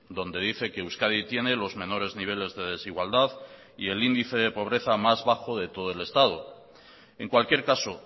donde dice que euskadi tiene los menores niveles de desigualdad y el índice de pobreza más bajo de todo el estado en cualquier caso